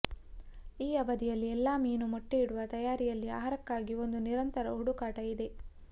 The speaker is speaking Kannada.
ಈ ಅವಧಿಯಲ್ಲಿ ಎಲ್ಲಾ ಮೀನು ಮೊಟ್ಟೆಯಿಡುವ ತಯಾರಿಯಲ್ಲಿ ಆಹಾರಕ್ಕಾಗಿ ಒಂದು ನಿರಂತರ ಹುಡುಕಾಟ ಇದೆ